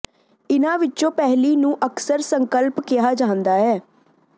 ਇਹਨਾਂ ਵਿੱਚੋਂ ਪਹਿਲੀ ਨੂੰ ਅਕਸਰ ਸੰਕਲਪ ਕਿਹਾ ਜਾਂਦਾ ਹੈ